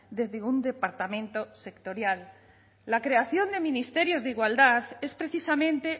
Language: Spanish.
desde un departamento sectorial la creación de ministerios de igualdad es precisamente